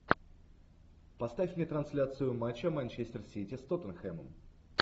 поставь мне трансляцию матча манчестер сити с тоттенхэмом